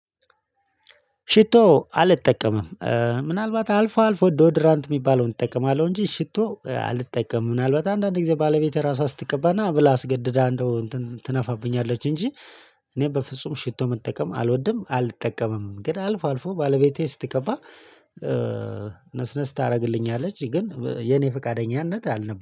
ሽቶ አልጠቀምም። ምናልባት አልፎ አልፎ ዶድራንት የሚባለውን እጠቀማለሁ እንጂ ሽቶ አልጠቀምም ምናልባት አንዳንድ ጊዜ ባለቤቴ ራሷ ስትቀባ ናብላ አስገድዳ እንደው እንትን ትነፋብኛለች እንጂ። እኔ በፍጹም ሽቶ መጠቀም አልወድም አልጠቀምም ግን አልፎ አልፎ ባለቤቴ ስትቀባ። ነስነስ ታደርግልኛለች ግን የኔ ፈቃደኛነት አልነበረም